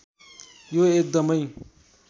यो एकदमै